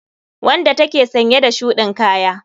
Wanda take sanye da shudin Kaya.